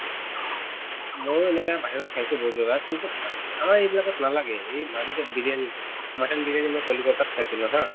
ময়ো এনেকা বাহিৰত খাইছো বহুত জগাত কিন্তু আমাৰ এইবিলাকত নালাগে এই মাজতে বিৰিয়ানী mutton বিৰিয়ানী মই কলিকতাত খাইছিলো haa